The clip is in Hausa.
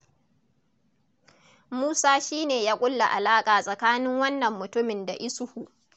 Musa shi ne ya ƙulla alaƙa tsakanin wannan mutumin da Isuhu.